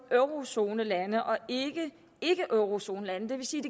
eurozonelande og ikke ikkeeurozonelande det vil sige